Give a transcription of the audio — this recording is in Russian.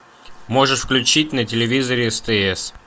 можешь включить на телевизоре стс